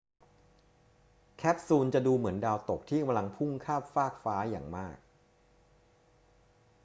แคปซูลจะดูเหมือนดาวตกที่กำลังพุ่งข้ามฟากฟ้าอย่างมาก